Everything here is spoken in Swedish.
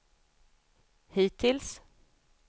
hittills